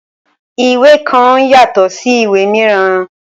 Ìwé kan yatọ sí ìwé míràn.